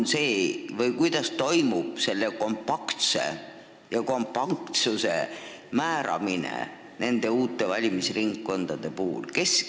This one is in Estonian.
Kuidas toimub selle kompaktsuse määramine nende uute valimisringkondade puhul?